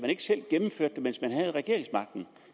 ikke selv gennemførte det mens man havde regeringsmagten